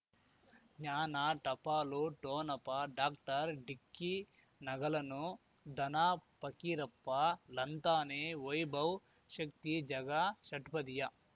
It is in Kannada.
ಜ್ಞಾನ ಟಪಾಲು ಠೊನಪ ಡಾಕ್ಟರ್ ಢಿಕ್ಕಿ ನಗಳನು ಧನ ಫಕೀರಪ್ಪ ಳಂತಾನೆ ವೈಭವ್ ಶಕ್ತಿ ಝಗಾ ಷಟ್ಪದಿಯ